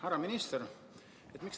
Härra minister!